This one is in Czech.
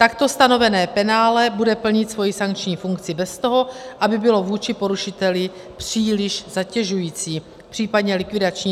Takto stanovené penále bude plnit svoji sankční funkci bez toho, aby bylo vůči porušiteli příliš zatěžující, případně likvidační.